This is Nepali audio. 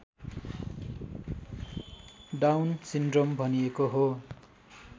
डाउन सिन्ड्रोम भनिएको हो